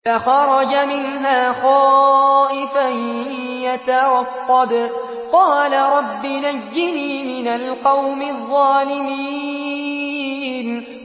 فَخَرَجَ مِنْهَا خَائِفًا يَتَرَقَّبُ ۖ قَالَ رَبِّ نَجِّنِي مِنَ الْقَوْمِ الظَّالِمِينَ